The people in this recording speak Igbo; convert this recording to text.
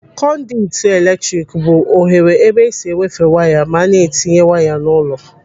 Konditu eletrik bụ oghere ebe esi ewefe waya ma a na-etinye waya n'ụlọ.